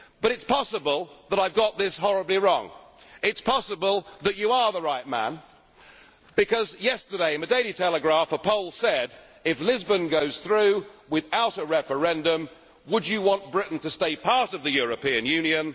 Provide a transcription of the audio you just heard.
you. But it is possible that I have got this horribly wrong. It is possible that you are the right man after all, because yesterday in the Daily Telegraph a poll asked If Lisbon goes through without a referendum, would you want Britain to stay part of the European